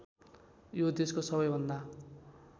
यो देशको सबैभन्दा